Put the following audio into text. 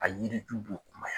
A yiriju b'u kumaya.